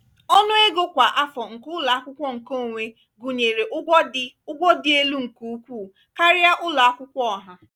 ọnụ ego kwa afọ nke ụlọ akwụkwọ nkeonwe gụnyere ụgwọ dị ụgwọ dị elu nke ukwuu karịa ụlọ akwụkwọ ọha.